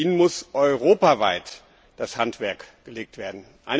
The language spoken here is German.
Ihnen muss europaweit das Handwerk gelegt werden.